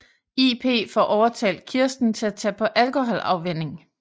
IP får overtalt Kirsten til at tage på alkoholafvænning